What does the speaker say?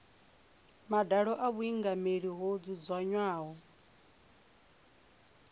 madalo a vhuingameli ho dzudzanywaho